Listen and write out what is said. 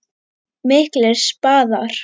Miklir spaðar.